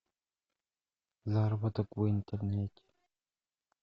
заработок в интернете